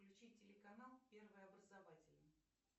включи телеканал первый образовательный